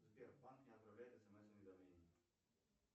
сбербанк не отправляет смс уведомления